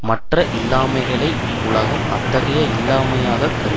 மற்ற இல்லாமைகளை உலகம் அத்தகைய இல்லாமையாக கருதாது